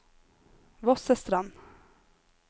Vossestrand